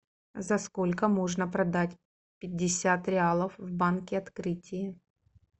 за сколько можно продать пятьдесят реалов в банке открытие